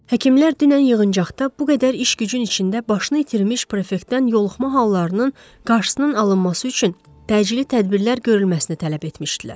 Həkimlər dünən yığıncaqda bu qədər iş gücün içində başını itirmiş prefektdən yoluxma hallarının qarşısının alınması üçün təcili tədbirlər görülməsini tələb etmişdilər.